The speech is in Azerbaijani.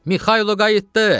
Mixailo qayıtdı!